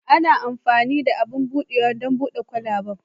Ana amfani da abin buɗawa don buɗe kwalabe.